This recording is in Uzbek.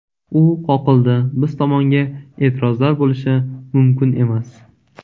U qoqildi, biz tomonga e’tirozlar bo‘lishi mumkin emas.